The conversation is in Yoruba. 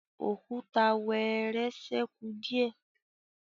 Òkúta wẹẹrẹ sẹku diẹ